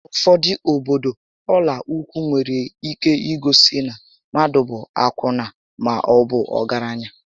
N'ufodu obodo, ọla ụkwụ nwere ike igosi na mmadụ bụ akwụna maọbu ọgaranya